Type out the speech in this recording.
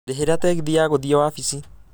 ndĩhĩra tegithi ya gũthiĩ wabici